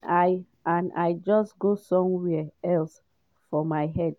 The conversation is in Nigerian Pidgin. and… i and… i just go somewhere else for my head.